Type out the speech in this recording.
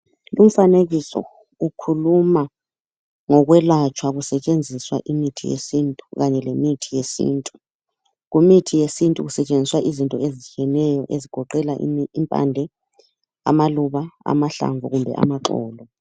Lumfanekiso ukhuluma ngokwelatshwa kusetshenziswa imithi yesintu kanye lemithi yesintu. Kumithi yesintu kusetshenziswa izinto ezehlukeneyo ezigoqela ,impande ,amaluba , amahlamvu kumbe amaxolo.